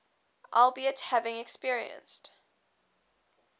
albeit having experienced